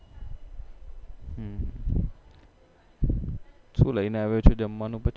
સુ લઈને આવ્યો છે જમવાનું પછી